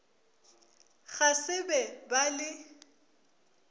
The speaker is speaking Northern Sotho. ga se be ba le